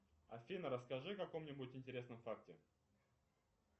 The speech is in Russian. афина расскажи о каком нибудь интересном факте